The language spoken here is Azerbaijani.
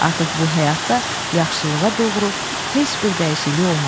Artıq bu həyatda yaxşılığa doğru heç bir dəyişiklik olmadı.